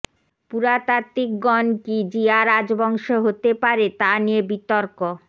পুরাতাত্ত্বিকগণ কি জিয়া রাজবংশ হতে পারে তা নিয়ে বিতর্ক